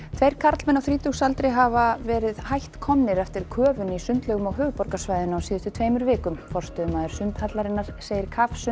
tveir karlmenn á þrítugsaldri hafa verið hætt komnir eftir köfun í sundlaugum á höfuðborgarsvæðinu á síðustu tveimur vikum forstöðumaður sundhallarinnar segir